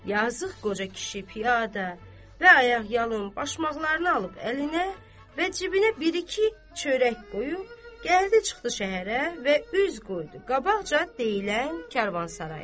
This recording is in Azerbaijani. Yazıq qoca kişi piyada və ayaqyalın başmaqlarını alıb əlinə və cibinə bir-iki çörək qoyub gəldi çıxdı şəhərə və üz qoydu qabaqca deyilən Karvansaraya.